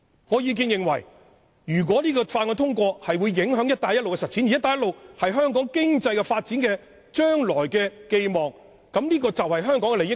我認為《條例草案》一旦通過，會影響"一帶一路"的實踐，而"一帶一路"是香港未來經濟發展的寄望，關乎香港的利益。